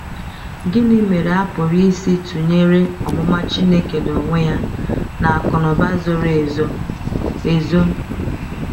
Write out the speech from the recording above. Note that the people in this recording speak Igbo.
Gịnị mere a pụrụ isi tụnyere “omụma Chineke n’onwe ya” na “akụnụba zoro ezo”? ezo”?